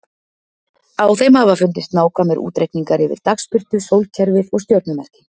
Á þeim hafa fundist nákvæmir útreikningar yfir dagsbirtu, sólkerfið og stjörnumerkin.